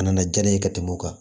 A nana diya ne ye ka tɛmɛ o kan